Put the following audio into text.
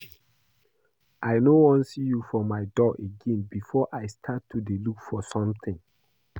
I no wan see you for my door again before I start to dey look for something